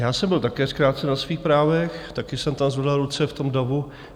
Já jsem byl také zkrácen na svých právech, také jsem tam zvedal ruce v tom davu.